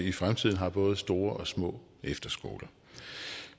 i fremtiden har både store og små efterskoler